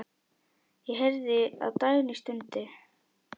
Ég heyrði að Dagný stundi.